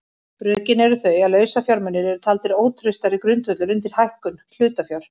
Rökin eru þau að lausafjármunir eru taldir ótraustari grundvöllur undir hækkun hlutafjár.